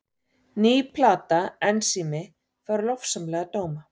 Ný plata Ensími fær lofsamlega dóma